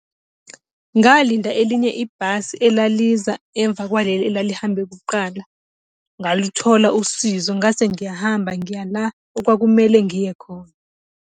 Ngalinda elinye ibhasi elaliza emva kwaleli elalihambe kuqala, ngaluthola usizo ngase ngiyahamba ngiya la okwakumele ngiye khona.